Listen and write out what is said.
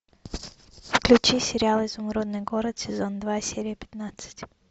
включи сериал изумрудный город сезон два серия пятнадцать